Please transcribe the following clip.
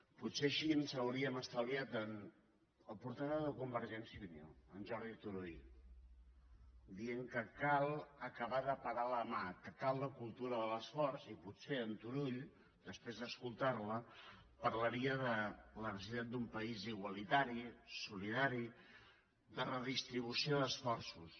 potser així ens hauríem estalviat el portaveu de convergència i unió en jordi turull dient que cal acabar de parar la mà que cal la cultura de l’esforç i potser en turull després d’escoltar la parlaria de la necessitat d’un país igualitari solidari de redistribució d’esforços